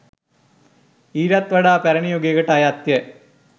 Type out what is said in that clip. ඊටත් වඩා පැරණි යුගයකට අයත් ය.